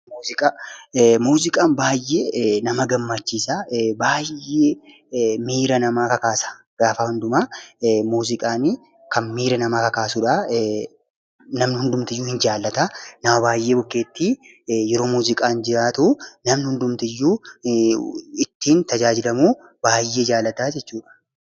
Muuziqaan baay'ee nama gammachiisa! Baay'ee miira namaa kakaasa! Gaafa hundumaa muuziqaani kan miira namaa kakaasudha. Namni hundumtinuu ni jaallata. Nama baay'ee bukkeetti yeroo muuziqaan jiraatu namni hundumtiyyuu ittiin tajaajilamuu baay'ee jaalata jechuudha.